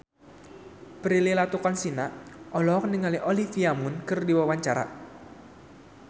Prilly Latuconsina olohok ningali Olivia Munn keur diwawancara